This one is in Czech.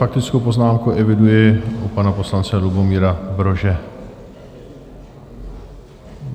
Faktickou poznámku eviduji u pana poslance Lubomíra Brože.